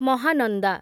Mahananda